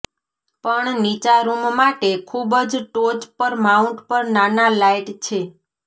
પણ નીચા રૂમ માટે ખૂબ જ ટોચ પર માઉન્ટ પર નાના લાઇટ છે